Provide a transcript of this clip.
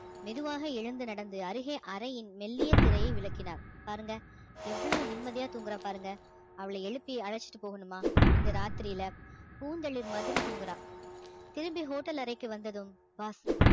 மெதுவாக எழுந்து நடந்து அருகே அறையின் மெல்லிய திரையை விளக்கினார் பாருங்க எவ்வளவு நிம்மதியா தூங்கறா பாருங்க அவ்வளவு எழுப்பி அழைச்சுட்டு போகணுமா இந்த ராத்திரியில பூந்தளிர் மாதிரி தூங்குறா திரும்பி hotel அறைக்கு வந்ததும் boss